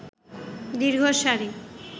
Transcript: দীর্ঘ সারি